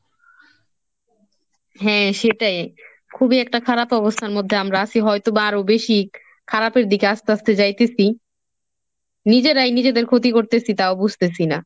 হ্যাঁ সেটাই খুবই একটা খারাপ অবস্থার মধ্যে আমরা আছি হয়তো বা আরো বেশি খারাপের দিকে আস্তে আস্তে যাইতেসি, নিজেরাই নিজেদের ক্ষতি করতেছি তাও বুঝতেসি না।